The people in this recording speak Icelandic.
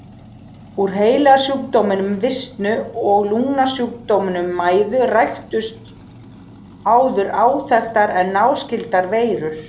Úr heilasjúkdóminum visnu og lungnasjúkdóminum mæði ræktuðust áður óþekktar en náskyldar veirur.